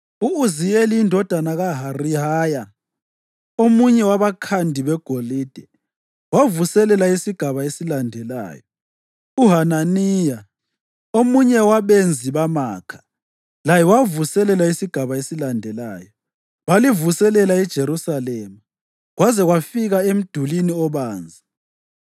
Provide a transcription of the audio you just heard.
U-Uziyeli indodana kaHarihaya, omunye wabakhandi begolide, wavuselela isigaba esilandelayo; uHananiya, omunye wabenzi bamakha, laye wavuselela isigaba esilandelayo. Balivuselela iJerusalema kwaze kwafika eMdulini Obanzi.